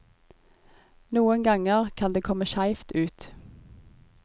Noen ganger kan det komme skjevt ut.